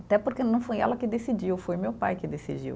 Até porque não foi ela que decidiu, foi meu pai que decidiu.